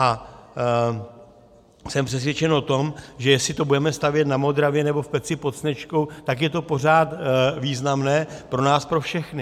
A jsem přesvědčen o tom, že jestli to budeme stavět na Modravě nebo v Peci pod Sněžkou, tak je to pořád významné pro nás pro všechny.